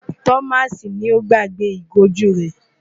Thomas ni ó gbàgbé ìgò ojú rẹ̀.